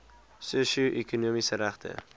sosio ekonomiese regte